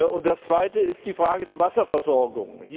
Und das Zweite ist die Frage der Wasserversorgung.